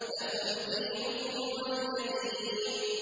لَكُمْ دِينُكُمْ وَلِيَ دِينِ